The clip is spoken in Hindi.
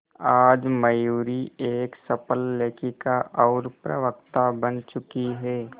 आज मयूरी एक सफल लेखिका और प्रवक्ता बन चुकी है